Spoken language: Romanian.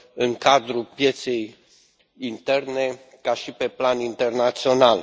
în cadrul pieței interne și pe plan internațional.